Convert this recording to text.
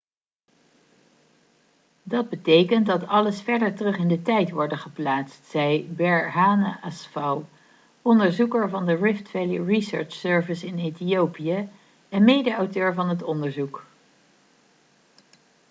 'dat betekent dat alles verder terug in de tijd worden geplaatst,' zei berhane asfaw onderzoeker van de rift valley research service in ethiopië en medeauteur van het onderzoek